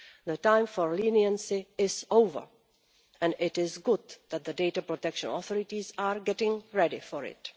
The time for leniency is over, and it is good that the data protection authorities are getting ready for it.